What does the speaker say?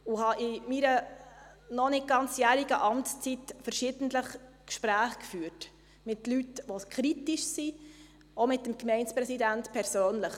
Ich habe in meiner noch kein Jahr dauernden Amtszeit verschiedentlich Gespräche geführt mit Leuten, die kritisch sind, auch mit dem Gemeindepräsidenten von Wileroltigen persönlich.